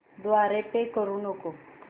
द्वारे पे करू नको